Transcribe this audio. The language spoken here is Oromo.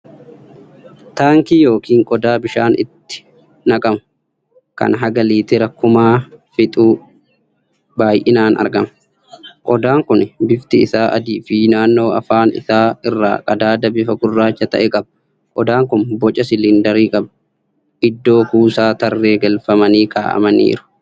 Taankii yookiin qodaa bishaan itti naqamu, kan haga liitira kumaa fixu baay'inaan argama. Qodaan kun bifti isaa adiifii naannoo afaan isaa irraa qadaada bifa gurraacha ta'e qaba. Qodaan kun boca siliindarii qaba. Iddoo kuusaa tarree galfamanii kaa'amanii jiru.